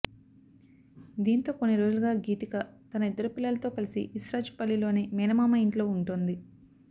దీంతో కొన్ని రోజులుగా గీతిక తన ఇద్దరు పిల్లలతో కలిసి ఇస్రాజ్ పల్లిలోని మేనమామ ఇంట్లో ఉంటోంది